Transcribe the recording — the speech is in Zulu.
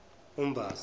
umbasa